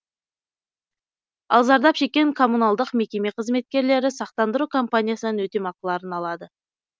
ал зардап шеккен коммуналдық мекеме қызметкерлері сақтандыру компаниясынан өтемақыларын алады